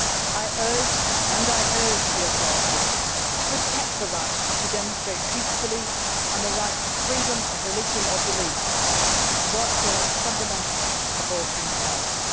I urged and I urged the authorities to protect the right to demonstrate peacefully, and the right to freedom of religion or belief one of the most fundamental of all human rights.